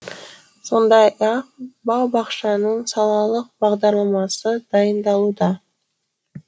сондай ақ бау бақшаның салалық бағдарламасы дайындалуда